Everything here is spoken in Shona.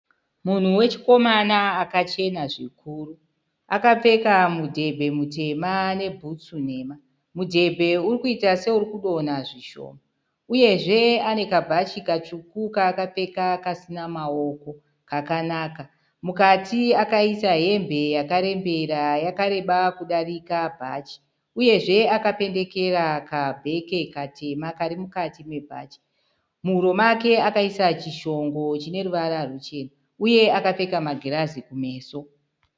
Munhu wechikomana akachena zvikuru. Akapfeka mudhebhe mutema nebhutsu nhema. Mudhebhe uri kuita seuri kudonha zvishoma uyezve ane kabhachi katsvuku kaakapfeka kasina maoko kakanaka. Mukati akaisa hembe yakarembera yakareba kudarika bhachi uyezve akapendekera kabheke katema kari mukati mebhachi. Muhuro akaisa chishongo chine ruvara ruchena uye akapfeka magirazi kumeso.